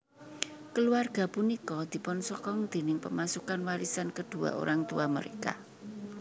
Keluarga punika dipunsokong déning pemasukan warisan kedua orang tua mereka